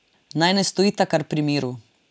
Naj ne stojita kar pri miru.